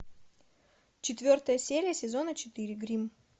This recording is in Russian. четвертая серия сезона четыре гримм